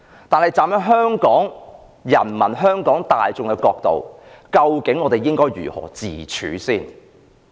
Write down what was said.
但是，站在香港市民、香港大眾的角度，究竟我應該如何自處？